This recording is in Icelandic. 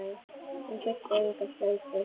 Hún þurfti enga slaufu.